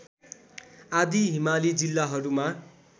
आदि हिमाली जिल्लाहरूमा